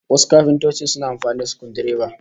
Wasu kafintocin suna amfani da sukudireba